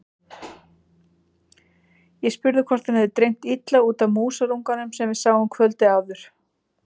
Ég spurði hvort hann hefði dreymt illa út af músarunganum sem við sáum kvöldið áður.